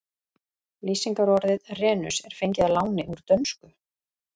Lýsingarorðið renus er fengið að láni úr dönsku.